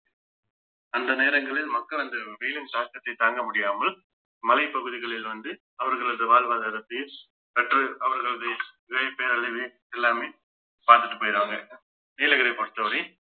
அந்த நேரங்களில் மக்கள் அந்த வெயிலின் தாக்கத்தை தாங்க முடியாமல் மலைப் பகுதிகளில் வந்து அவர்களது வாழ்வாதாரத்தை கற்று அவர்களது பேரழிவு எல்லாமே பாத்துட்டு போயிடுவாங்க நீலகிரியை பொறுத்தவரை